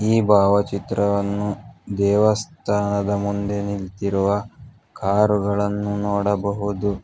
ಈ ಭಾವಚಿತ್ರವನ್ನು ದೇವಸ್ಥಾನದ ಮುಂದೆ ನಿಂತಿರುವ ಕಾರುಗಳನ್ನು ನೋಡಬಹುದು.